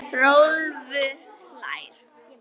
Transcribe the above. Hrólfur hlær.